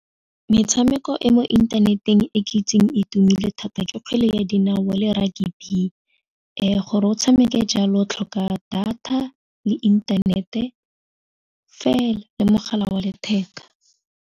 Metshameko e mo inthaneteng e ke itseng itumelele thata ke kgwele ya dinao le rugby gore o tshameke jalo tlhoka data le inthanete fela le mogala wa letheka.